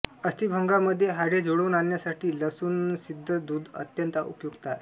अस्थिभंगामध्ये हाडे जुळवून आणण्यासाठी लसूणसिद्ध दूध अत्यंत उपयुक्त आहे